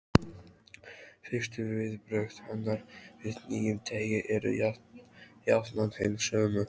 Fyrstu viðbrögð hennar við nýjum degi eru jafnan hin sömu.